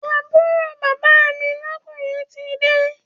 Àbúrò bàbá mi lọ́kùnrin tide